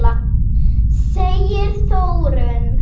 segir Þórunn.